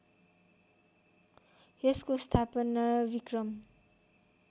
यसको स्थापना विक्रम